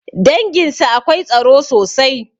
Danginsu akwai tsaro sosai